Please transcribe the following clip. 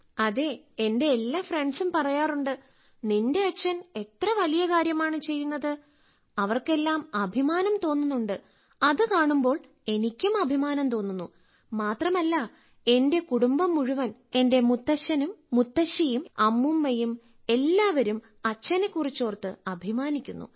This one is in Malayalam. അതെ എന്റെ എല്ലാ ഫ്രണ്ട്സും പറയാറുണ്ട് നിന്റെ അച്ഛൻ എത്ര വലിയ കാര്യമാണ് ചെയ്യുന്നത് അവർക്കെല്ലാം അഭിമാനം തോന്നുന്നുണ്ട് അത് കാണുമ്പോൾ എനിക്കും അഭിമാനം തോന്നുന്നു മാത്രമല്ല എന്റെ കുടുംബം മുഴുവൻ എന്റെ മുത്തശ്ശനും മുത്തശ്ശിയും അമ്മൂമ്മയും എല്ലാവരും അച്ഛനെ കുറിച്ചോർത്ത് അഭിമാനിക്കുന്നു